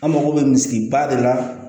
An mago bɛ misi ba de la